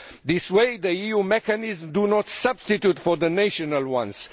This way, the EU mechanisms do not substitute for the national ones.